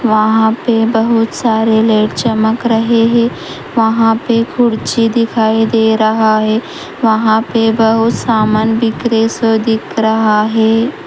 वहाँ पे ही बहुत सारे लेट चमक रहे है वहां पे कुर्चि दिखाई दे रहा है वहां पर बहुत सामान बिक्रे शो दिख रहा है।